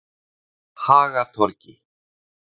Hagatorgi